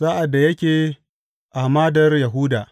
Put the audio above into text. Sa’ad da yake a hamadar Yahuda.